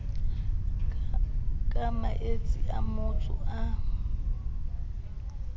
ka maetsi a matso a